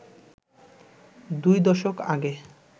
দুই দশক আগে